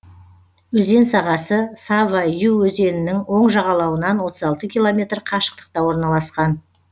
өзен сағасы сава ю өзенінің оң жағалауынан отыз алты километр қашықтықта орналасқан